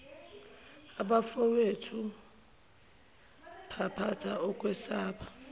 abafowethu phampatha ukwesaba